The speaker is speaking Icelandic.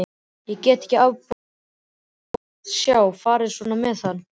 Ég gat ekki afborið að sjá farið svona með hann.